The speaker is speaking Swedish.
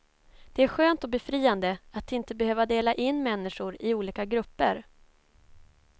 Det är skönt och befriande att inte behöva dela in människor i olika grupper.